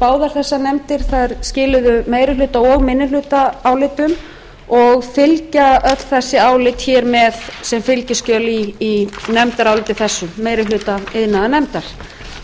báðar þessar nefndir skiluðu meirihluta og minnihlutaálitum og fylgja öll þessi álit hér með sem fylgiskjöl í nefndaráliti þessu meiri hluta iðnaðarnefndar